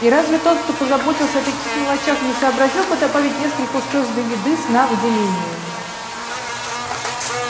и разве тот кто позаботился о таких мелочах не сообразил бы добавить несколько устройств для еды сна выделения